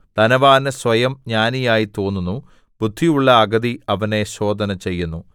ധനവാന് സ്വയം ജ്ഞാനിയായി തോന്നുന്നു ബുദ്ധിയുള്ള അഗതി അവനെ ശോധനചെയ്യുന്നു